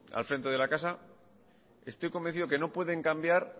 al frente de la casa estoy convencido que no pueden cambiar